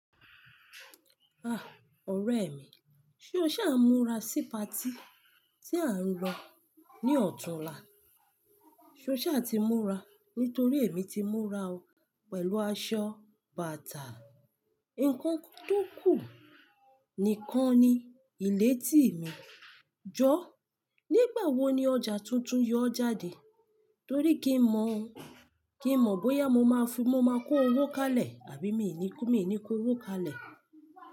Ah! Ọ̀rẹ́ mi, ṣé o sá ń múra sí pati tí a ń lọ ní ọ̀tunla? Ṣé o ṣe a ti múra nítorí èmi ti múra o pẹ̀lú aṣọ bàtà. Ǹkankan tó kù nìkan ni ilẹ̀tì mi. Jọ! Nígbàwo ni ọjà tuntun yóò jáde? Nítorí kí n mọ̀, kí n mọ̀ bóyá mo má fi, mo má kó owó kalẹ̀ àbí mi ni kó, mi ni kó owó kalẹ̀.